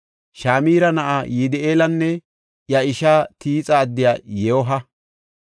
Shimira na7aa Yidi7eelanne iya ishaa Tiixa addiya Yooha,